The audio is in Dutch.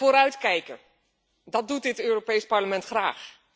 Vooruitkijken, dat doet dit Europees Parlement graag.